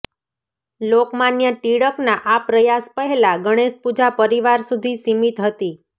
લોકમાન્ય ટિળકના આ પ્રયાસ પહેલાં ગણેશપૂજા પરિવાર સુધી સીમિત હતી